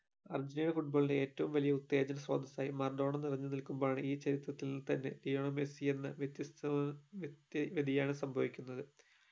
Argentina FOOTBALL ഏറ്റവം വെല്യ ഉത്തേജ മർഡോണാ നിറഞ്ഞു നിൽകുമ്പോൾ ആണ് ഈ ചരിത്രത്തിൽ തന്നെ ലയണൽ മെസ്സി എന്ന വ്യത്യസ്ത മായ വ്ത്യക്തി വ്യതിയാനം സംഭവിക്കുന്നത്